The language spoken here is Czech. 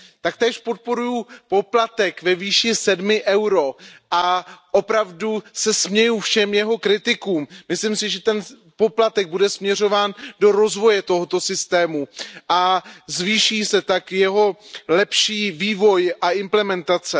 Taktéž podporuji poplatek ve výši 7 EUR a opravdu se směju všem jeho kritikům. Myslím si, že ten poplatek bude směřován do rozvoje toho systému a zvýší se tak jeho lepší vývoj a implementace.